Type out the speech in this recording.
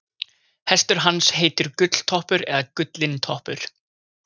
Hestur hans heitir Gulltoppur eða Gullintoppur.